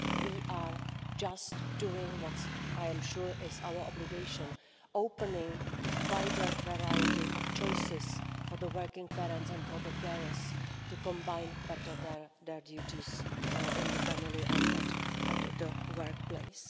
We are just doing what I am sure is our obligation, opening wider variety of choices for working parents and for carers to combine better their duties in the family and at the workplace.